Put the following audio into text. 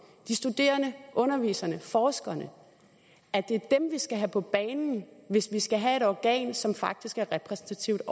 de studerende underviserne og forskerne er dem vi skal have på banen hvis vi skal have et organ som faktisk er repræsentativt